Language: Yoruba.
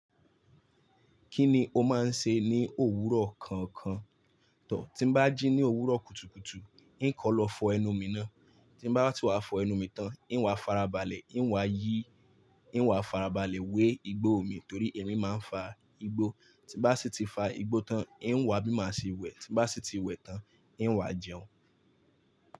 Kíni o máa ń ṣe ní òwúrọ̀ kankan? Tí bá jí ní òwúrọ̀ kùtùkùtù, n kọ̀ lọ fọ ẹnu mi ná. Tí bá ti wá fọ ẹnu mi tán, n wá farabalẹ̀, n wá yí, n wá farabalẹ̀ wé igbó omi torí èmi máa ń fa igbó. Tí bá sì ti fa igbó tán, n wá bíma sí ìwẹ̀. Tí bá sì ti wẹ̀ tán, n wá jẹun.